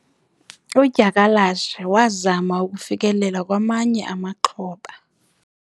udyakalashe wazama ukufikelela kwamanye amaxhoba